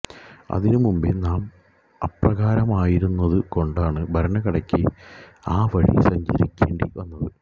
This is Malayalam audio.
അതിനു മുമ്പേ നാം അപ്രകാരമായിരുന്നതു കൊണ്ടാണ് ഭരണഘടനയ്ക്ക് ആ വഴി സഞ്ചരിക്കേണ്ടി വന്നത്